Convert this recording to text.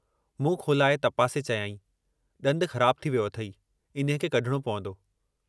मुंहु खोलाए तपासे चयाईं, ॾंदु ख़राबु थी वियो अथेई, इन्हीअ खे कढिणो पवंदो।